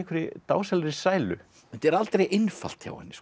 dásamlegri sælu þetta er aldrei einfalt hjá henni